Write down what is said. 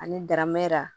Ani daramɛrɛ